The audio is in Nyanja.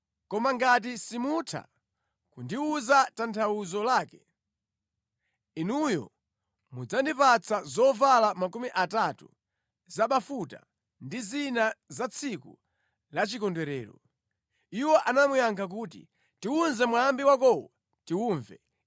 Koma ngati simutha kundiwuza tanthauzo lake, inuyo mudzandipatsa zovala makumi atatu zabafuta ndi zina za tsiku la chikondwerero.” Iwo anamuyankha kuti, “Tiwuze mwambi wakowo tiwumve.”